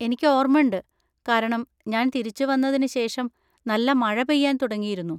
എനിക്ക് ഓർമണ്ട്, കാരണം ഞാൻ തിരിച്ചുവന്നതിന് ശേഷം നല്ല മഴ പെയ്യാൻ തുടങ്ങിയിരുന്നു.